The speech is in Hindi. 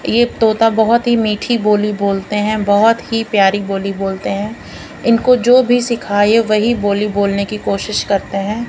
ये तोता बहुत ही मीठी बोली बोलते हैं बहुत ही प्यारी बोली बोलते हैं इनको जो भी सिखाए वही बोली बोलने की कोशिश करते हैं।